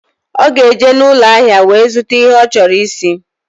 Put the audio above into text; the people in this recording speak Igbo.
Ọ ga-eje n'ụlọahịa wee zụta ihe ọ chọrọ isi.